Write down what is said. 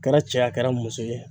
A kɛra cɛ ye, a kɛra muso ye.